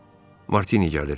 Ah, Martini gəlir.